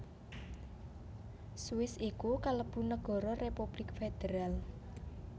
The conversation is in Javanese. Swiss iku kalebu nagara republik federal